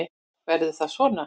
Verður það svona?